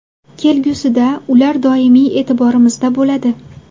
Kelgusida ular doimiy e’tiborimizda bo‘ladi.